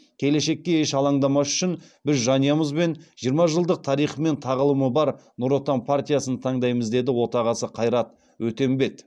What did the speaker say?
келешекке еш алаңдамас үшін біз жанұямызбен жиырма жылдық тарихы мен тағылымы бар нұр отан партиясын таңдаймыз деді отағасы қайрат өтембет